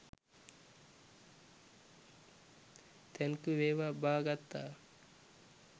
thank you වේවා බා ගත්තා